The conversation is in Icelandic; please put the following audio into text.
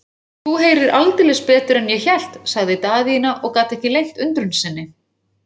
Þú heyrir aldeilis betur en ég hélt, sagði Daðína og gat ekki leynt undrun sinni.